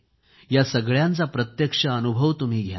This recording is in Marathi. या सगळ्यांचा प्रत्यक्ष अनुभव तुम्ही घ्या